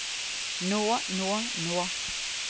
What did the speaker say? nå nå nå